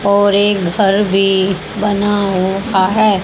और एक घर भी बना हुआ है।